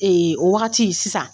o wagati sisan